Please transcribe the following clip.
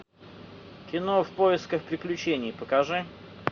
кино в поисках приключений покажи